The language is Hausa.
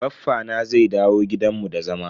Baffa na zai dawo gidan mu da zama.